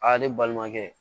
Aa ne balimakɛ